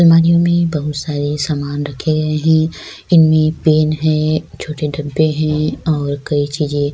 الماریوں میں بہت سارے سامان رکھے گئے ہے۔ انمیں پین ہے۔ ایک چھوٹے ڈبے ہیں اور کئی چیزیں--